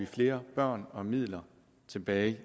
flere børn og midler tilbage